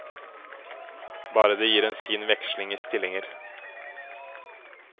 Bare det gir en fin veksling i stillinger.